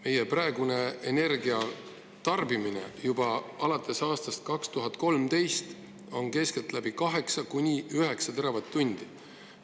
Meie praegune energiatarbimine alates aastast 2013 on keskeltläbi 8–9 teravatt-tundi.